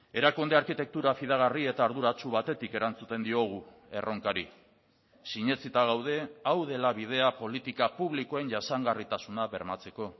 erakunde arkitektura fidagarri eta arduratsu batetik erantzuten diogu erronkari sinetsita gaude hau dela bidea politika publikoen jasangarritasuna bermatzeko